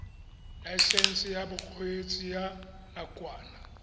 laesense ya bokgweetsi ya nakwana